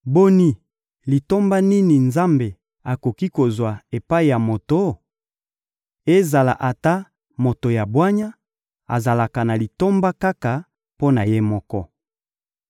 «Boni, litomba nini Nzambe akoki kozwa epai ya moto? Ezala ata moto ya bwanya, azalaka na litomba kaka mpo na ye moko.